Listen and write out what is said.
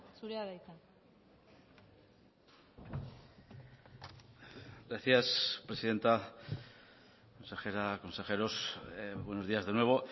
zurea da hitza gracias presidenta consejera consejeros buenos días de nuevo